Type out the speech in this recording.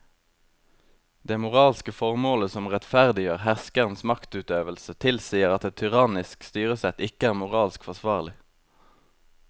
Det moralske formålet som rettferdiggjør herskerens maktutøvelse tilsier at et tyrannisk styresett ikke er moralsk forsvarlig.